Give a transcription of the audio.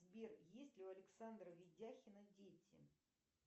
сбер есть ли у александра видяхина дети